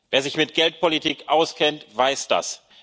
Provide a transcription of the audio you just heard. Wer sich mit Geldpolitik auskennt, weiß